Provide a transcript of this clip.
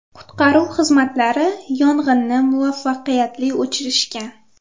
Qutqaruv xizmatlari yong‘inni muvaffaqiyatli o‘chirishgan.